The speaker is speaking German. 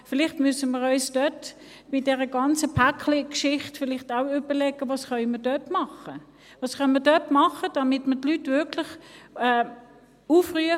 Vielleicht müssen wir uns bei dieser ganzen «Päckli»-Geschichte auch überlegen, was wir dort tun können, damit wir die Leute wirklich aufrufen: